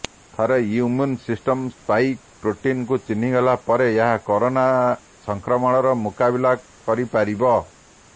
ଥରେ immune system spike ପ୍ରୋଟିନକୁ ଚିହ୍ନିଗଲା ପରେ ଏହା କରୋନା ସଂକ୍ରମଣର ମୁକାବିଲା କରି ପାରିବ